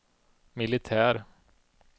militär